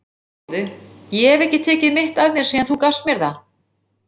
Sjáðu, ég hef ekki tekið mitt af mér síðan þú gafst mér það.